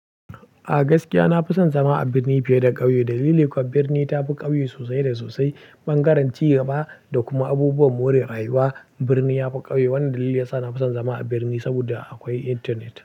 A gaskiya na fi son zama a birni fiye da ƙauye. Dalili kuwa birni ta fi ƙauye sosai da sosai, bangaren ci gaba da kuma abubuwan more rayuwa. Birni ya fi ƙauye. Wannan dalili ya sa na fi son zama a birni saboda akwai internet.